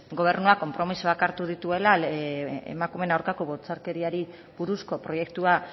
gobernua konpromisoak hartu dituela emakumeen aurkako bortxakeriari buruzko proiektua